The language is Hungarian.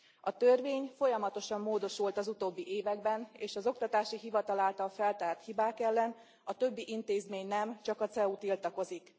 A törvény folyamatosan módosult az utóbbi években, és az Oktatási Hivatal által feltárt hibák ellen a többi intézmény nem, csak a CEU tiltakozik.